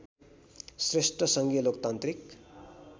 श्रेष्ठ सङ्घीय लोकतान्त्रिक